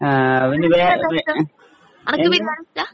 ആഹ് അതിനുപരിയായിട്ട് ഏഹ് എന്താ